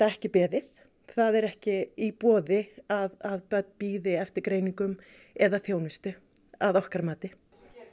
ekki beðið það er ekki í boði að börn bíði eftir greiningum eða þjónustu að okkar mati